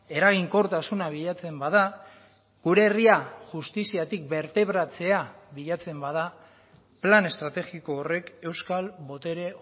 eraginkortasuna bilatzen bada gure herria justiziatik bertebratzea bilatzen bada plan estrategiko horrek euskal botere